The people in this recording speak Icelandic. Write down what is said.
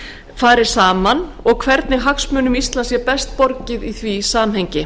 fari saman og hvernig hagsmunum íslands sé best borgið í því samhengi